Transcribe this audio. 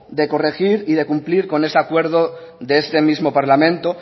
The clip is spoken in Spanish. a corregir y de cumplir con ese acuerdo de este mismo parlamento